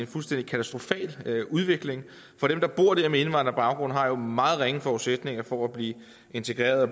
fuldstændig katastrofal udvikling for dem der bor der med indvandrerbaggrund har jo meget ringe forudsætninger for at blive integreret